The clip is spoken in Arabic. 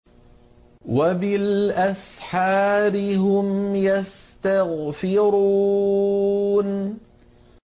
وَبِالْأَسْحَارِ هُمْ يَسْتَغْفِرُونَ